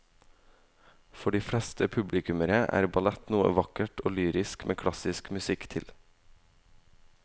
For de fleste publikummere er ballett noe vakkert og lyrisk med klassisk musikk til.